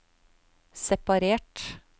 separert